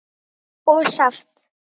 og saft.